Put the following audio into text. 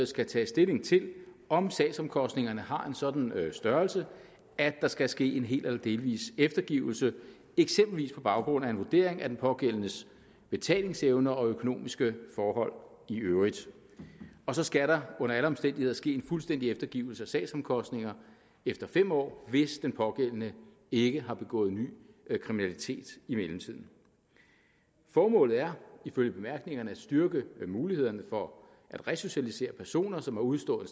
skal tages stilling til om sagsomkostningerne har en sådan størrelse at der skal ske en hel eller delvis eftergivelse eksempelvis på baggrund af en vurdering af den pågældendes betalingsevne og økonomiske forhold i øvrigt og så skal der under alle omstændigheder ske en fuldstændig eftergivelse af sagsomkostninger efter fem år hvis den pågældende ikke har begået ny kriminalitet i mellemtiden formålet er ifølge bemærkningerne at styrke mulighederne for at resocialisere personer som har udstået